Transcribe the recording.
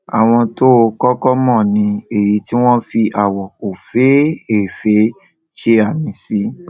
àwọn tó o kókó mò ni èyí tí wón fi àwò òféèfé ṣe àmì sí